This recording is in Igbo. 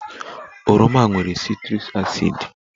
Oroma nwere citric acid